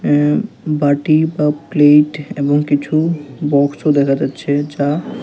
অ্যা বাটি বা প্লেট এবং কিছু বক্স ও দেখা যাচ্ছে যা--